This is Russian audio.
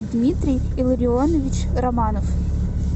дмитрий илларионович романов